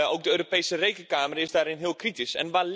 Ook de Europese Rekenkamer is daarin heel kritisch.